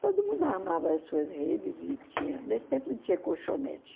Todo mundo armava as suas redes e tinha nesse tempo não tinha colchonete.